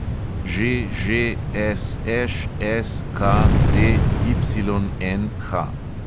ŽŽSŠSKZYNH